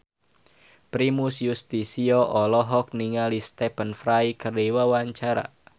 Primus Yustisio olohok ningali Stephen Fry keur diwawancara